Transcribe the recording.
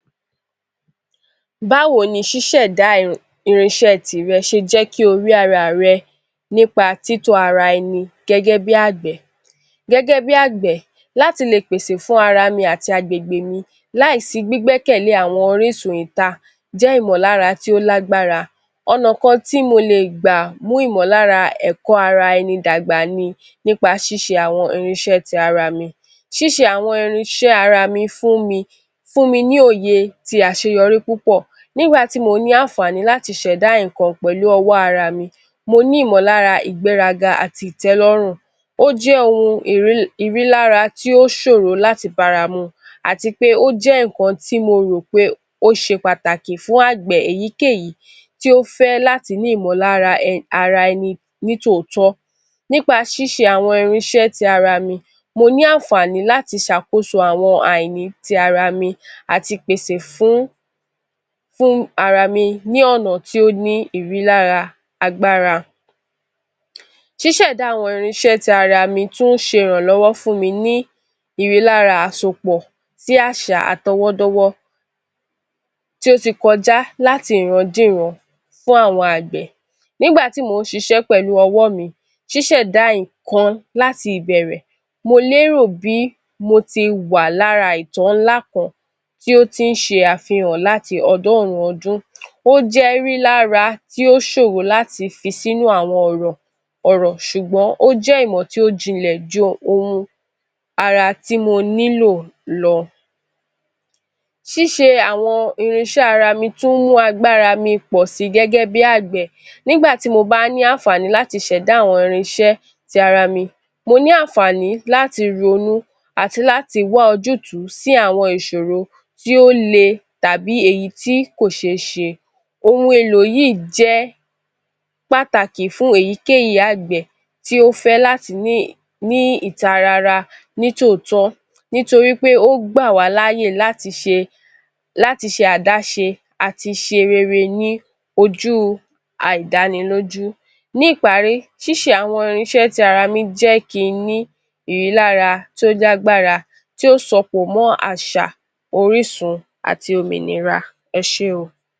Báwo ni ṣísẹ̀da irínṣẹ́ tìrẹ ṣe jẹ́ kí ó rí ríra rẹ nípa títọ́ ara rẹ ẹni gẹ́gẹ́ bí agbẹ̀. Gẹ́gẹ́ bí agbẹ̀, láti lè pèsè fún ara mi àti àgbègbè mi láìsí gbígbẹ́ kẹ̀lẹ́ àwọn orísun ìta jẹ́ ìmọ̀lára tí ó lágbára, ọ̀nà kan tí mó lè gbà mú ìmọ̀lára ẹ̀kọ́ ara ẹni dàgbà ni nípa ṣíṣe àwọn irínṣẹ́ ti ara mi, ṣíṣe àwọn irínṣẹ́ ara mi fún mi, fún mi ní òye àti àṣeyọrí púpọ̀ nígbà tí mó ni àǹfààní láti sẹ̀dá nǹkan pẹ̀lú ọwọ́ ara mi, mo ní ìmọ̀lára, ìgbéraga àti ìtẹ́lọ́rùn, ó jẹ ohun ìrí lára tí ó ṣòro láti bára mu àti pé ó jẹ́ nǹkan tí mo rò pé ó ṣé pàtàkì fún agbẹ̀ èyíkéyìí tí ó fẹ́ láti ni ìmọ̀lára ara ẹni ní tòótọ́. Nípa ṣíṣe àwọn irínṣẹ́ ti ara mi, mo ní àǹfààní láti ṣàkóso àwọn àìní ti ará mi àti pèsè fún ara mi ni ọ̀nà tí ó ní ìrílára agbára. Ṣísẹ̀da àwọn irínṣẹ́ ti ara mi tún ń ṣé ìrànlọ́wọ́ fún mi ní ìrílára àsopọ̀ sí àṣà àtọ̀wọ́dọ́wọ́ ti ó ti kọjá láti ìran dé ìran fún àwọn agbẹ̀. Nígbà tí mó ṣiṣẹ́ pẹ̀lú ọwọ́ mi, ṣísẹ̀da nǹkan láti ìbẹ̀rẹ̀ mo lérò bí mo tì wà lára ìjọ ńlá kan tí ó ti ń ṣe àfihàn láti ọdọ́run ọdún, ó jẹ ìrí lára tí ó ṣòro láti fi sínú àwọn ọ̀rọ̀, ọ̀rọ̀ ṣùgbọ́n ó jẹ ìmọ̀ tí ó jìnlẹ̀ jù ohun ara ti mo nílò lọ. Ṣíṣe àwọn irínṣẹ́ ara mi tún mú agbára mi pọ sí gẹ́gẹ́ bí agbẹ̀ nígbà tí mo bá a ní àǹfààní láti sẹ̀dá àwọn irínṣẹ́ ti ara mi, mo ni àǹfààní láti ronú àti láti wá ojútùú sí àwọn ìṣoro tí èyí tí ó lé tàbí èyí tí kò ṣe é ṣe. Ohun èlò yìí jẹ́ pàtàkì fún èyíkéyìí agbẹ̀, ti ó fẹ́ láti ní ìtarara, ní tòótọ́ nítorí pé ó gbà wá láàyè láti ṣe, láti ṣé adáṣe àti ṣe rere ní ojú àìdánilójú. Ní ìparí, Ṣíse àwọn irínṣẹ́ ti ara mi jẹ́ kí ni ìrí lára jẹ agbára tí ó sopọ̀ mọ́ àṣà, orísun àti òmìnira, Ẹ ṣe óò.